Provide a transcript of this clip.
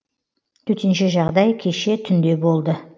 төтенше жағдай кеше түнде болды